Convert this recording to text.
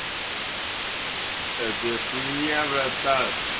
это хуйня братан